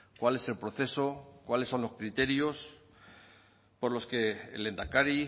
cuál es el proceso cuáles son los criterios por los que el lehendakari